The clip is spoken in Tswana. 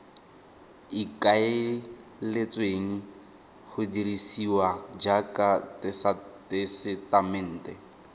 ikaeletsweng go dirisiwa jaaka tesetamente